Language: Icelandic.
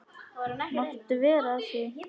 Máttu vera að því?